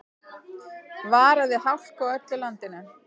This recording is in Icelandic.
Varað við hálku á öllu landinu